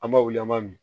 An b'a wuli an b'a min